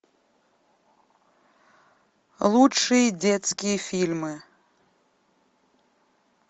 лучшие детские фильмы